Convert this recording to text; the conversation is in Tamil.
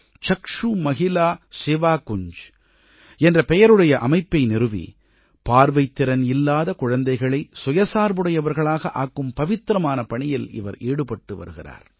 சக்ஷு மஹிலா சேவாகுஞ்ஜ் என்ற பெயருடைய அமைப்பை நிறுவி பார்வைத்திறன் இல்லாத குழந்தைகளை சுயசார்புடையவர்களாக ஆக்கும் பவித்திரமான பணியில் இவர் ஈடுபட்டு வருகிறார்